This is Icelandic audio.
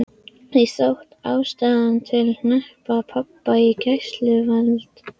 Því þótti ástæða til að hneppa pabba í gæsluvarðhald.